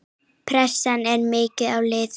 Pressan er mikil á liðið.